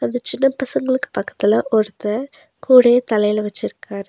அந்த சின்ன பசங்களுக்கு பக்கத்துல ஒருத்த கூடைய தலையில வெச்சிருக்காரு.